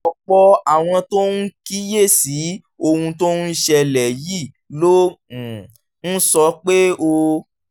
ọ̀pọ̀ àwọn tó ń kíyè sí ohun tó ń ṣẹlẹ̀ yìí ló um ń sọ pé ó